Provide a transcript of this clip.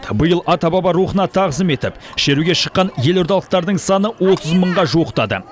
биыл ата баба рухына тағзым етіп шеруге шыққан елордалықтардың саны отыз мыңға жуықтады